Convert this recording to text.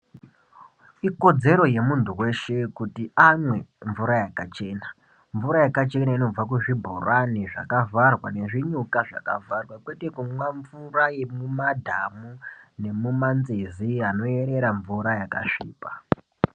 Ikodzero ye muntu weshe kuti amwe mvura yakachena mvura yakachena inobva ku zvibhorani zvaka vharwa ne zvinyuka zvaka vharwa kwete kumwa mvura yemu madhamu nemuma nzizi ano erera mvura yaka svipa.